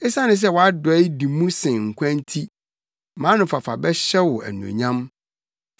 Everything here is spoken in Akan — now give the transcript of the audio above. Esiane sɛ wʼadɔe di mu sen nkwa nti mʼanofafa bɛhyɛ wo anuonyam.